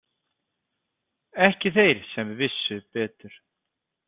Ekki þeir sem vissu betur.